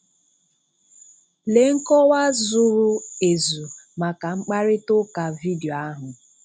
Lee nkọwa zụrụ ezu maka mkparita ụka vidio ahụ.